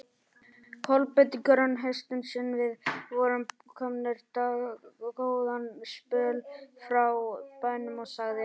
Kolbeinn grön hestinn sinn, við vorum komnir dágóðan spöl frá bænum, og sagði